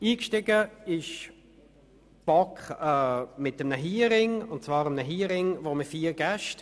Eingestiegen ist die BaK mit einem Hearing mit vier Gästen.